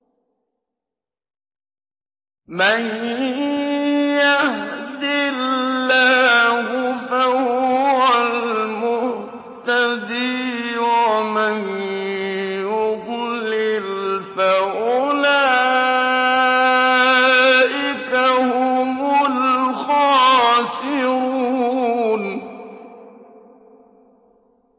مَن يَهْدِ اللَّهُ فَهُوَ الْمُهْتَدِي ۖ وَمَن يُضْلِلْ فَأُولَٰئِكَ هُمُ الْخَاسِرُونَ